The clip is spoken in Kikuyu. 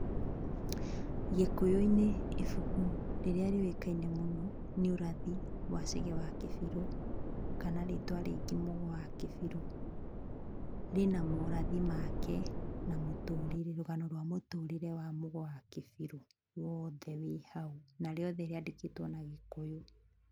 Gĩkũyũ-inĩ ibuku rĩrĩa rĩũĩkaine mũno, nĩ ũrathi wa Chege wa Kĩbirũ, kana rĩtwa rĩngĩ Mũgo wa Kĩbirũ. Rĩ na morathi make, na mũtũrĩre na rũgano rwa mũtũrĩre wa Mũgo wa Kĩbirũ ,woothe wĩ hau na rĩothe rĩandĩkĩtwo na gĩkũyũ.